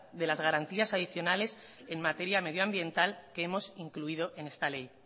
de las garantías adicionales en materia medioambiental que hemos incluido en esta ley